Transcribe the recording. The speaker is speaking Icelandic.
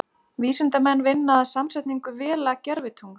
Vísindamenn vinna að samsetningu Vela-gervitungls.